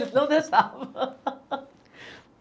Não deixavam.